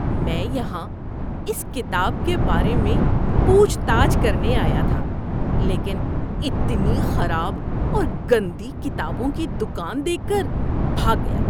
میں یہاں اس کتاب کے بارے میں پوچھ تاچھ کرنے آیا تھا لیکن اتنی خراب اور گندی کتابوں کی دکان دیکھ کر بھاگ گیا۔